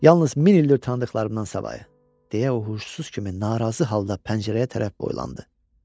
Yalnız min ildir tanıdıqlarımdan savayı, deyə uğultusuz kimi narazı halda pəncərəyə tərəf boylandı.